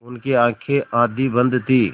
उनकी आँखें आधी बंद थीं